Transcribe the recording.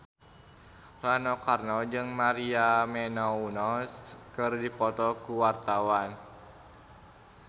Rano Karno jeung Maria Menounos keur dipoto ku wartawan